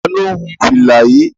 Ta ló hun fìlà yìí?